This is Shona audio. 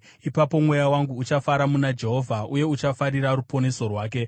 Ipapo mweya wangu uchafara muna Jehovha, uye uchafarira ruponeso rwake.